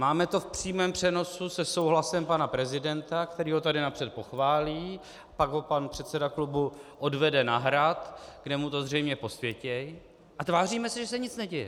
Máme to v přímém přenosu se souhlasem pana prezidenta, který ho tady napřed pochválí, pak ho pan předseda klubu odvede na Hrad, kde mu to zřejmě posvětí, a tváříme se, že se nic neděje.